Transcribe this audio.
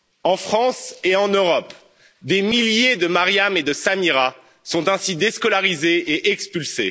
En France et en Europe, des milliers de Mariam et de Samira sont ainsi déscolarisés et expulsés.